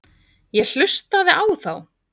Ég hlustaði á þá.